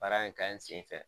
Baara in ka ɲi senfɛ